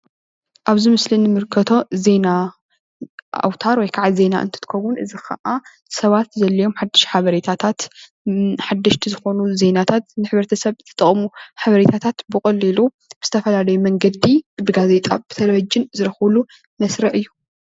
ኣብዚ ምስሊ እንምልከቶ ዜና ኣውታር ወይ ከዓ ዜና እንትኽውን እዚ ከዓ ሰባት ዘድልዮም ሓዱሽ ሓበሬታታት ሓደሽቲ ዝኾኑ ዜናታት ንሕብረተሰብ ዝጠቅሙ ሓበሬታታት ብቀሊሉ ብዝተፈላለዩ መንገዲ ብጋዜጣ፣ ብቴለቪዥን ዝረክብሉ መስርዕ እዩ፡፡